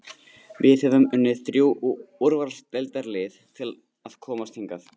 Við höfum unnið þrjú úrvalsdeildarlið til að komast hingað.